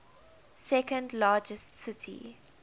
second largest city